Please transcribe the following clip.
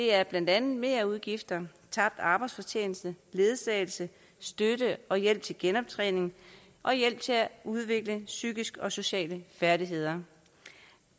er blandt andet merudgifter tabt arbejdsfortjeneste ledsagelse støtte og hjælp til genoptræning og hjælp til at udvikle psykiske og sociale færdigheder